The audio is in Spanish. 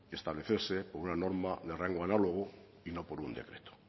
establecerse con una norma de rango análogo y no por un decreto